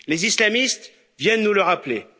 Les islamistes viennent nous le rappeler.